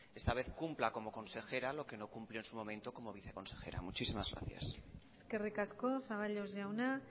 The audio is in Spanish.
esta vez cumpla como consejera lo que no cumplió en su momento como viceconsejera muchísimas gracias eskerrik asko zaballos jauna